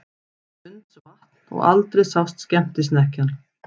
Blundsvatn og aldrei sást skemmtisnekkjan.